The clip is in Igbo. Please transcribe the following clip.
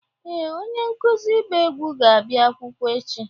Ee, onye nkuzi ịgba egwu ga-abịa akwụkwọ echi.